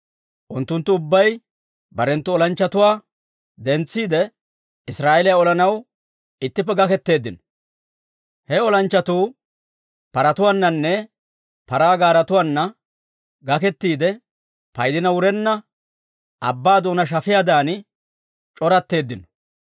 Unttunttu ubbay barenttu olanchchatuwaa dentsiide, Israa'eeliyaa olanaw ittippe gaketeeddino. He olanchchatuu paratuwaananne paraa gaaretuwaana gakettiide, paydina wurenna abbaa doonaa shafiyaadan c'oratteeddino.